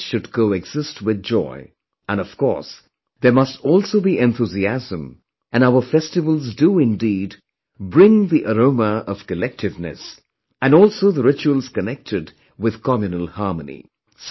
Happiness should coexist with joy, and of course there must also be enthusiasm and our festivals do indeed bring the aroma of collectiveness, and also the rituals connected with communal harmony